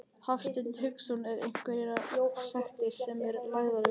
Hafsteinn Hauksson: Er einhverjar sektir sem eru lagðar við þessu?